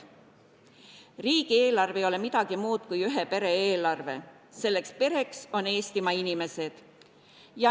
Riigieelarve ei ole midagi muud kui ühe pere eelarve, selleks pereks on Eestimaa inimesed.